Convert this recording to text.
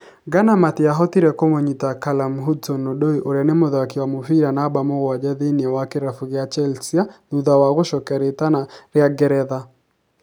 Ghana matiahotire kũmũnyita Callum Hudson-Odoi ũrĩa nĩ mũthaki wa mũbira namba mũgwanja thĩiniĩ wa kĩrabu kĩa Chelsea thutha wa gũcokia riitana rĩa Ngeretha.